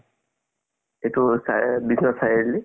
এইটো চাৰি আলি